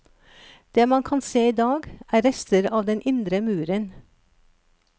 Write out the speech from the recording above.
Det man kan se i dag er rester av den indre muren.